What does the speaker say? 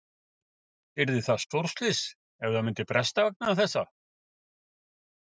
Yrði það stórslys ef að það myndi bresta vegna þessa?